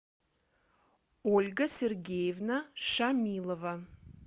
ольга сергеевна шамилова